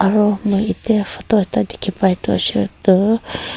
aru ete moi photo ekta dikhi pa toh.